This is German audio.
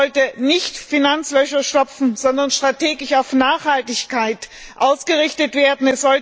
Es sollte nicht Finanzlöcher stopfen, sondern strategisch auf Nachhaltigkeit ausgerichtet werden.